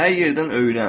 Hər yerdən öyrən.